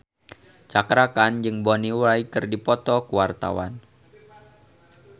Cakra Khan jeung Bonnie Wright keur dipoto ku wartawan